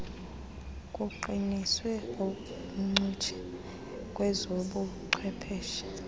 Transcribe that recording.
kuqiniswe ubuncutshe kwezobuchwepheshe